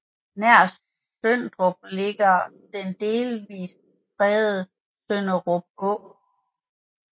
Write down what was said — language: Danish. Nær Sønderup ligger den delvist fredede Sønderup Å